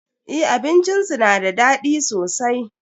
Eh abincin su da daɗi sosai.